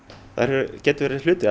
þær geta verið hluti af